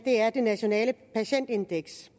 er nationalt patientindeks